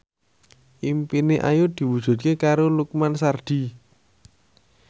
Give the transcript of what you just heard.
impine Ayu diwujudke karo Lukman Sardi